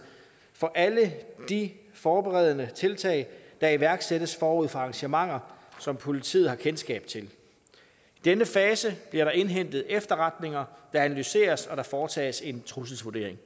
for alle de forberedende tiltag der iværksættes forud for arrangementer som politiet har kendskab til i denne fase bliver der indhentet efterretninger der analyseres og der foretages en trusselsvurdering